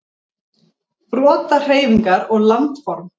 Brotahreyfingar og landform.